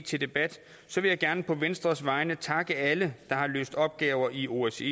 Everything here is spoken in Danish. til debat vil jeg gerne på venstres vegne takke alle der har løst opgaver i osce